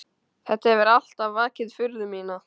Þetta hefur alltaf vakið furðu mína.